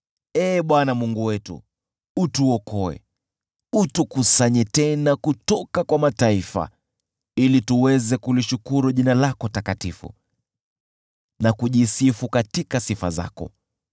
Ee Bwana Mungu wetu, tuokoe. Tukusanye tena kutoka kwa mataifa, ili tuweze kulishukuru jina lako takatifu, na kushangilia katika sifa zako.